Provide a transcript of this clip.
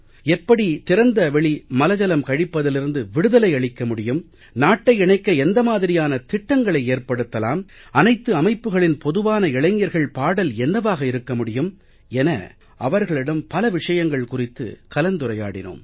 எப்படி திறந்த வெளி மலஜலம் கழிப்பதிலிருந்து விடுதலை அளிக்க முடியும் நாட்டை இணைக்க எந்த மாதிரியான திட்டங்களை ஏற்படுத்தலாம் அனைத்து அமைப்புக்களின் பொதுவான இளைஞர்கள் பாடல் என்னவாக இருக்க முடியும் என அவர்களிடம் பல விஷயங்கள் குறித்து கலந்துரையாடினோம்